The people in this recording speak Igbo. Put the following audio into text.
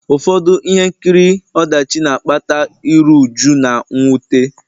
Ụfọdụ ihe nkiri ọdachi na-akpata iru újú na mwute